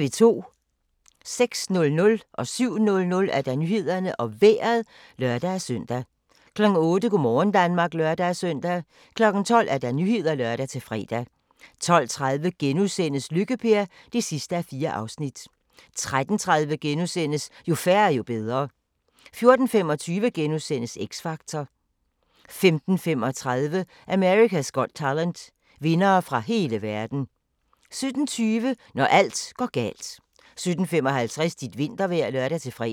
06:00: Nyhederne og Vejret (lør-søn) 07:00: Nyhederne og Vejret (lør-søn) 08:00: Go' morgen Danmark (lør-søn) 12:00: Nyhederne (lør-fre) 12:30: Lykke-Per (4:4)* 13:30: Jo færre, jo bedre * 14:25: X Factor * 15:35: America's Got Talent - vindere fra hele verden 17:20: Når alt går galt 17:55: Dit vintervejr (lør-fre)